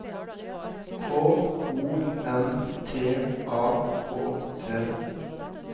K O N T A K T